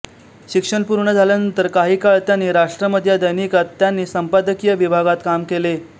शिक्षण पूर्ण झाल्यानंतर काही काळ त्यांनी राष्ट्रमत या दैनिकात त्यांनी संपादकीय विभागात काम केले